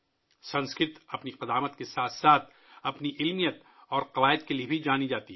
سنسکرت اپنی قدامت کے ساتھ ساتھ اس کی سائنسی اور گرامر کے لیے بھی مشہور ہے